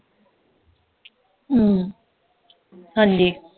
ਹਮ ਹਾਂਜੀ